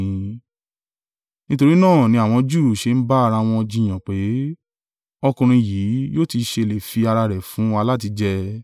Nítorí náà ni àwọn Júù ṣe ń bá ara wọn jiyàn, pé, “Ọkùnrin yìí yóò ti ṣe lè fi ara rẹ̀ fún wa láti jẹ?”